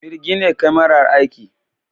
Mirgine kamara, Aiki!